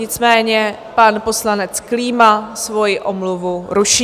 Nicméně pan poslanec Klíma svoji omluvu ruší.